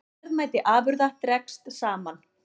Verðmæti afurða dregst saman